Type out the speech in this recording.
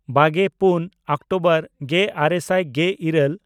ᱵᱟᱜᱮᱼᱯᱩᱱ October ᱜᱮᱼᱟᱨᱮ ᱥᱟᱭ ᱜᱮᱼᱤᱨᱟᱹᱞ